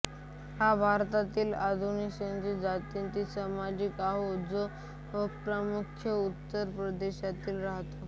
हा भारतातील अनुसूचित जातीचा समाज आहे जो प्रामुख्याने उत्तर प्रदेशात राहतो